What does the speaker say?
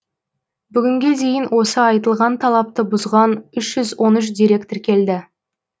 бүгінге дейін осы айтылған талапты бұзған үш жүз он үш дерек тіркелді